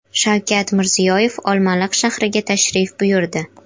Shavkat Mirziyoyev Olmaliq shahriga tashrif buyurdi.